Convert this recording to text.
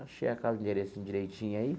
Achei aquele endereço direitinho aí.